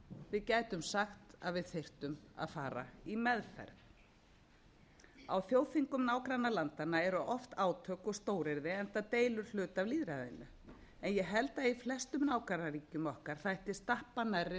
við gætum sagt að við þyrftum að fara í meðferð á þjóðþingum nágrannalandanna eru oft án og stóryrði enda deilurhluta af lýðræðinu en ég held að í flestum nágrannaríkjum okkar þætti stappa nærri